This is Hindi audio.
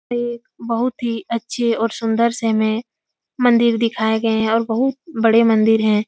एक बहुत ही अच्छे और सुन्दर से हमें मंदिर दिखाए गए हैं और बहुत बड़े मंदिर हैं।